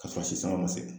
K'a sɔrɔ si sanga ma se